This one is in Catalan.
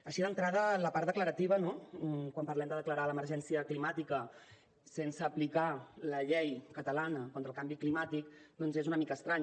així d’entrada la part declarativa no quan parlem de declarar l’emergència climàtica sense aplicar la llei catalana contra el canvi climàtic doncs és una mica estrany